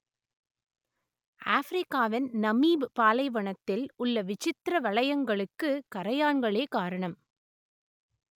ஆஃப்ரிக்காவின் Namib பாலைவனத்தில் உள்ள விசித்திர வளையங்களுக்கு கறையான்களே காரணம்